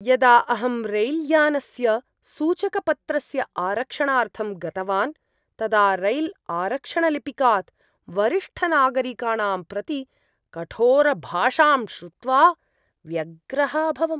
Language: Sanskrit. यदा अहं रैल्यानस्य सूचकपत्रस्य आरक्षणार्थं गतवान् तदा रैल्आरक्षणलिपिकात् वरिष्ठनागरिकाणां प्रति कठोरभाषां श्रुत्वा व्यग्रः अभवम्।